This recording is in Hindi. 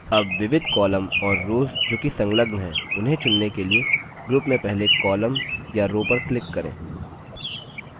अब विविध columns और रोव्स जो कि संलग्न है उन्हें चुनने के लिए group में पहले columns या rows पर click करें